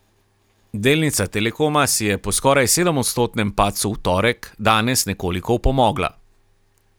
Delnica Telekoma si je po skoraj sedemodstotnem padcu v torek, danes nekoliko opomogla.